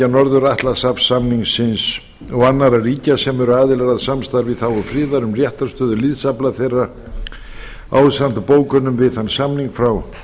norður atlantshafssamningsins og annarra ríkja sem eru aðilar að samstarfi í þágu friðar um réttarstöðu liðsafla þeirra ásamt bókunum við þann samning frá nítjánda júní